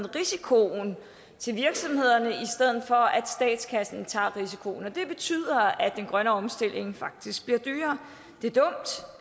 risikoen til virksomhederne i stedet for at statskassen tager risikoen og det betyder at den grønne omstilling faktisk bliver dyrere det